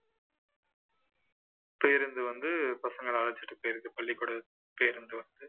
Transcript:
பேருந்து வந்து பசங்களை அழைச்சுட்டு போயிருது பள்ளிக்கூட பேருந்து வந்து